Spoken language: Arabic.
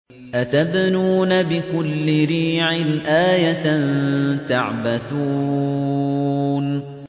أَتَبْنُونَ بِكُلِّ رِيعٍ آيَةً تَعْبَثُونَ